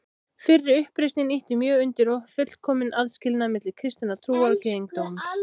Fyrri uppreisnin ýtti mjög undir fullkominn aðskilnað milli kristinnar trúar og gyðingdóms.